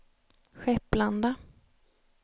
Skepplanda